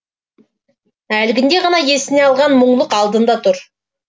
әлгінде ғана есіне алған мұңлық алдында тұр